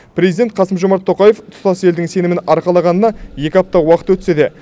президент қасым жомарт тоқаев тұтас елдің сенімін арқалағынан екі апта уақыт өтсе де